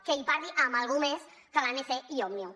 que parli amb algú més que l’anc i òmnium